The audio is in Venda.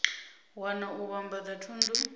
wana na u vhambadza thundu